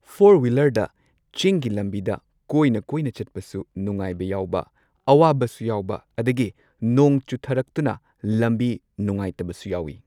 Four ꯋꯤꯂꯔꯗ ꯆꯤꯡꯒꯤ ꯂꯝꯕꯤꯗ ꯀꯣꯏꯅ ꯀꯣꯏꯅ ꯆꯠꯄꯁꯨ ꯅꯨꯉꯥꯏꯕ ꯌꯥꯎꯕ ꯑꯋꯥꯕꯁꯨ ꯌꯥꯎꯕ ꯑꯗꯒꯤ ꯅꯣꯡ ꯆꯨꯊꯔꯛꯇꯨꯅ ꯂꯝꯕꯤ ꯅꯨꯉꯥꯏꯇꯕꯁꯨ ꯌꯥꯎꯏ꯫